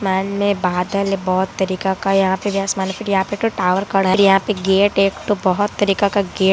आसमान में बादल है बहुत तरीका का यहां पे भी आसमान है फिर यहां पे टॉवर खड़ा है फिर यहां पे गेट है एक ठो बहुत तरीका का गेट --